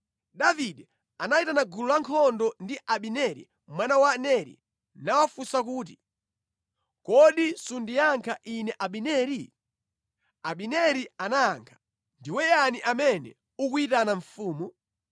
Davide anayitana gulu lankhondo ndi Abineri mwana wa Neri nawafunsa kuti, “Kodi sundiyankha ine Abineri?” Abineri anayankha kuti, “Ndiwe yani amene ukuyitana mfumu?”